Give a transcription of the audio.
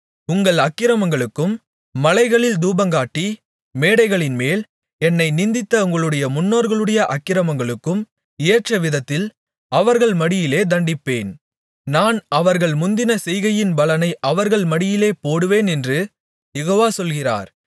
உங்கள் அக்கிரமங்களுக்கும் மலைகளில் தூபங்காட்டி மேடைகளின்மேல் என்னை நிந்தித்த உங்களுடைய முன்னோர்களுடைய அக்கிரமங்களுக்கும் ஏற்றவிதத்தில் அவர்கள் மடியிலே தண்டிப்பேன் நான் அவர்கள் முந்தின செய்கையின் பலனை அவர்கள் மடியிலே போடுவேனென்று யெகோவா சொல்கிறார்